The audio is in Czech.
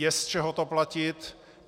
Je z čeho to platit.